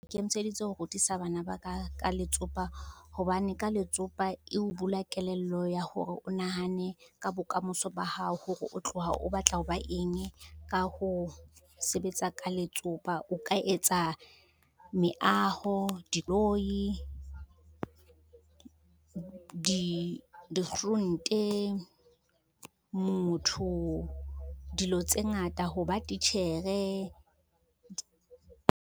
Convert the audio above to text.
Ke ikemiseditse ho rutisa bana ba ka ka letsopa, hobane ka letsopa e o bula kelello ya hore o nahane ka bokamoso ba hao hore o tloha o batla ho ba eng ka ho sebetsa ka letsopa. O ka etsa eng meaho, diloi, dikgurunte, motho dilo tse ngata, ho ba titjhere.